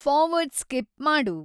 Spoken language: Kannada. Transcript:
ಫಾರ್ವರ್ಡ್ ಸ್ಕಿಪ್ ಮಾಡು